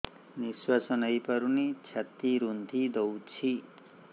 ନିଶ୍ୱାସ ନେଇପାରୁନି ଛାତି ରୁନ୍ଧି ଦଉଛି